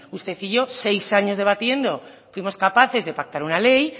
usted y yo seis años debatiendo fuimos capaces de pactar una ley